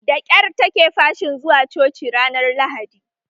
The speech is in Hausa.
Da kyar take fashin zuwa coci ranar lahadi